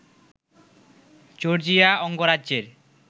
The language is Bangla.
জর্জিয়া অঙ্গরাজ্যের